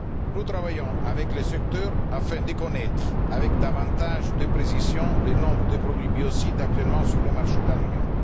Nous travaillons avec le secteur afin de connaître, avec davantage de précision, le nombre de produits biocides actuellement sur le marché de l'Union.